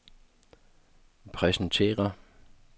præsentere